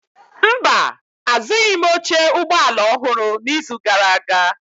Mba, azụghịm oche ụgbọ ala ọhụrụ n'izu gara aga.